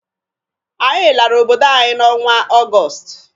Anyị lara obodo anyi n'ọnwa Ọgọsụtụ.